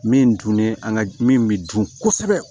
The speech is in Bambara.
Min dunnen an ka min bi dun kosɛbɛ